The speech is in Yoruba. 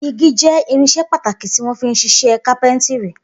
Igi jẹ́ irinṣẹ́ pàtàkì tí wọ́n fi ń ṣiṣẹ́ kápẹ́ńtírì.